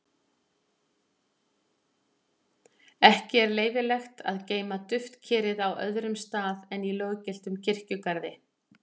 ekki er leyfilegt að geyma duftkerið á öðrum stað en í löggiltum kirkjugarði